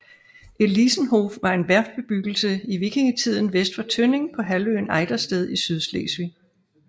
Elisenhof var en værftbebyggelse i vikingetiden vest for Tønning på halvøen Ejdersted i Sydslesvig